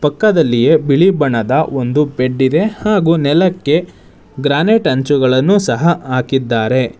ಪಕ್ಕದಲ್ಲಿಯೇ ಬಿಳಿ ಬಣ್ಣದ ಒಂದು ಬೆಡ್ ಇದೆ ಹಾಗು ನೆಲಕ್ಕೆ ಗ್ರಾನೈಟ್ ಹಂಚುಗಳನ್ನು ಸಹ ಹಾಕಿದ್ದಾರೆ.